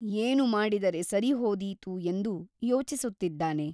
ಏನು ಮಾಡಿದರೆ ಸರಿಹೋದೀತು ಎಂದು ಯೋಚಿಸುತ್ತಿದ್ದಾನೆ.